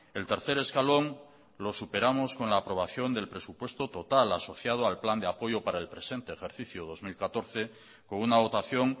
el tercer escalón lo superamos con la aprobación del presupuesto total asociado al plan de apoyo para el presente ejercicio dos mil catorce con una dotación